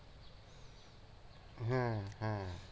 হ্যাঁ হ্যাঁ